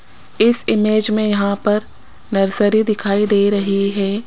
इस इमेज में यहां पर नर्सरी दिखाई दे रही है।